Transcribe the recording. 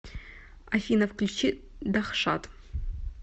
афина включи дахшат